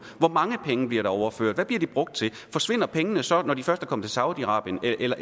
hvor mange penge bliver der overført hvad bliver de brugt til forsvinder pengene så når de først er kommet til saudi arabien eller